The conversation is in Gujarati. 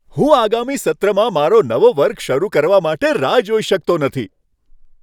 હું આગામી સત્રમાં મારો નવો વર્ગ શરૂ કરવા માટે રાહ જોઈ શકતો નથી!